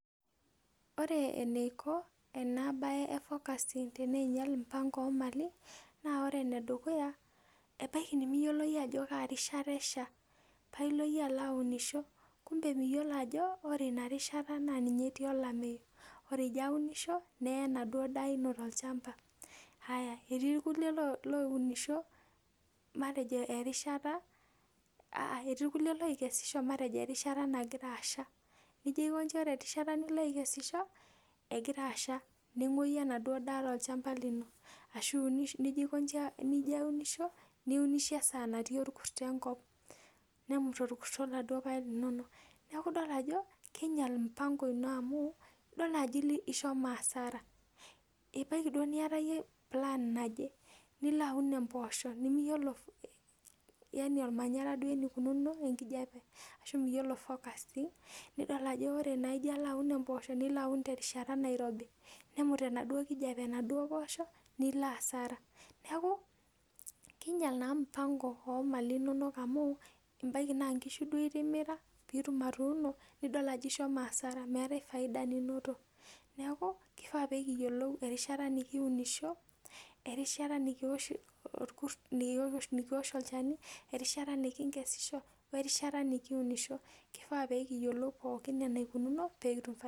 Ore eneiko ena bae e forecasting teneinyal mpango oo mali naa ore enedukuya, ebaiki nemiyiolo iyie ajo kaa rishata esha pailo iyie aunisho kumbe miyiolo ajo ore ina rishata naa ninye etii olameyu. Ore ijo aunisho, neye enaduo daa ino tolchamba. Aya, etii irkulie loounisho matejo erishata, aa etii irkulie lookesisho matejo erishata nagira asha. Nijo aiko inji ore erishata nigira aikesi negira asha. Neng'woyu enaduo daa tolchamba lino. Ashu nijo aiko inji nijo aunisho, niunisho esaa natii orkurto enkop, nemut orkurto iladuo paek linonok. Neeku idol ajo, keinyal mpango ino amu idol naa ajo ishomo hasara. Ebaiki duo niata iyie plan naje, nilaaun imboosho nemiyiolo ormanyara duo enikununo enkijape ashu nemiyiolo forecasting, nidol naa nijo alo aun emboosho nilo aun terishata nairobi. Nemut enaduo kijape enaduo poosho nilo hasara. Neeku kiinyal naa mpango oo mali inonok amu ebaiki naa nkishu duo itimira piitum atuuno, nidol ajo ishomo hasara. Meetae faida ninoto. Neeku kifaa nekiyiolou erishata nekiunisho, erishata nikiosh olchani, erishata nekinkesisho, we rishata nikiunisho, kifaa nekiyiolou pookin enaikununu pee kitum faida